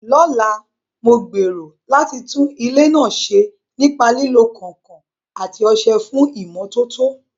Lọ́la, mo gbèrò láti tún ilé náà ṣe nípa lílo kànkàn àti ọṣẹ fún ìmọ́tótó.